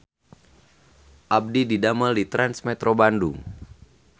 Abdi didamel di Trans Metro Bandung